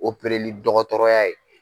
Opereli dɔgɔtɔrɔya ye.